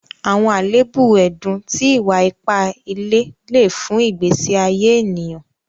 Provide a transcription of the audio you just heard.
Àwọn aléèbù ẹ̀dùn tí ìwà-ìpà ìlẹ̀ lè fún ìgbésí àyé ẹnìyàn.